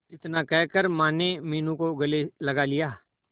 इतना कहकर माने मीनू को गले लगा लिया